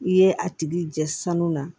I ye a tigi jɛ sanu na